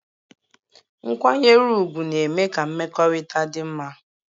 Nkwanyere ugwu na-eme ka mmekọrịta dị mma